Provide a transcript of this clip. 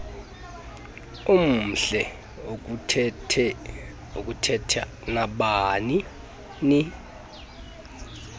omhle ukuthetha nabanini